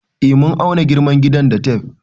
Eh mun auna girman gidan da tef